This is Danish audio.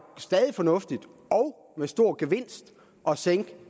stadig fornuftigt og med stor gevinst at sænke